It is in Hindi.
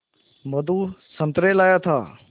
मधु संतरे लाया था